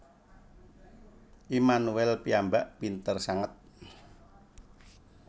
Immanuel piyambak pinter sanget